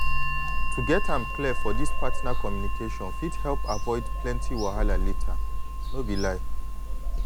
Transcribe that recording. to get am clear for this partner communication fit help avoid plenty wahala later no be lie.